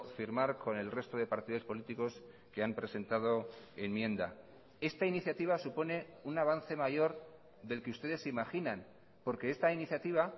firmar con el resto de partidos políticos que han presentado enmienda esta iniciativa supone un avance mayor del que ustedes imaginan porque esta iniciativa